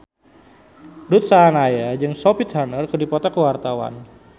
Ruth Sahanaya jeung Sophie Turner keur dipoto ku wartawan